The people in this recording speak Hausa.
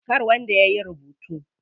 Kar wanda yayi rubutu.